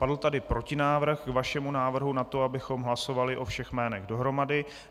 Padl tady protinávrh k vašemu návrhu na to, abychom hlasovali o všech jménech dohromady.